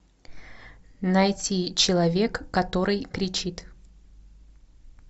найти человек который кричит